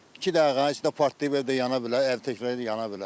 İki dəqiqənin içində partlayıb evdə yana bilər, hər təkrar yana bilər.